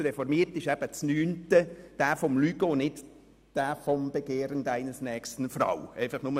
Bei uns Reformierten ist das neunte Gebot dasjenige mit dem Lügen und nicht dasjenige mit dem Begehren.